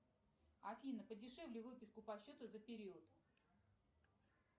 афина подешевле выписку по счету за период